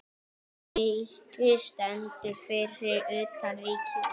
Eiki stendur fyrir utan Ríkið.